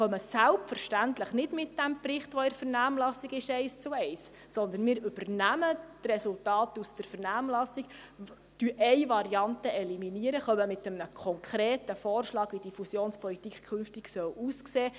Ich bedanke mich bei all den Rednern, die in den vergangenen Minuten die Gemeindeautonomie so hochgehalten haben.